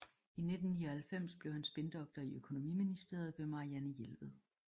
I 1999 blev han spindoktor i Økonomiministeriet ved Marianne Jelved